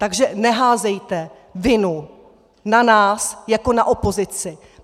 Takže neházejte vinu na nás jako na opozici!